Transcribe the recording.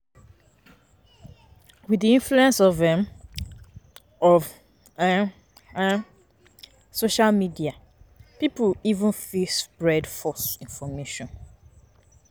With di influence um of um um social media pipo um fit spread false information